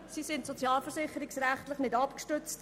Sie sind sozialversicherungsrechtlich nicht abgestützt.